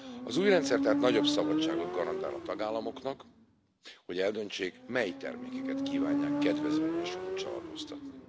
Az új rendszer tehát nagyobb szabadságot garantál a tagállamoknak, hogy eldöntsék, mely termékeket kívánják kedvezményes kulccsal adóztatni.